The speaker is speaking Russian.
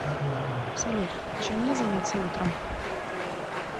салют чем мне заняться утром